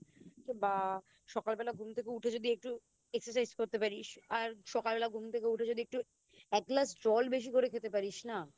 বা সকালবেলা ঘুম থেকে উঠে যদি একটু Exercise করতে পারিস আর সকালবেলা ঘুম থেকে উঠে যদি একটু এক গ্লাস জল যদি একটু বেশি করে খেতে পারিস না